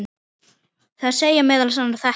Þar segir meðal annars þetta